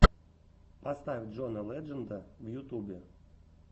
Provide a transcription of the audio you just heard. поставь джона ледженда в ютубе